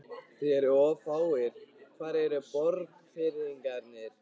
Þið eruð of fáir, hvar eru Borgfirðingarnir?